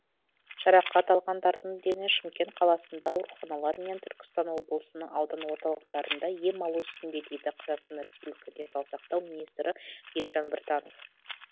жарақат алғандардың дені шымкент қаласындағы ауруханалар мен түркістан облысының аудан орталықтарында ем алу үстінде дейді қазақстан республика денсаулық сақтау министрі елжан біртанов